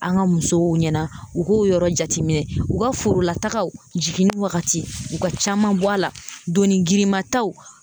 An ka musow ɲɛna, u k'o yɔrɔ jateminɛ, u ka forolatagaw jiginni wagati, u ka caman bɔ a la donni girinma taw